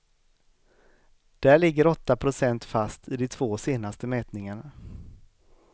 Där ligger åtta procent fast i de två senaste mätningarna.